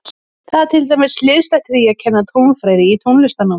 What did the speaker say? Þetta er til dæmis hliðstætt því að kenna tónfræði í tónlistarnámi.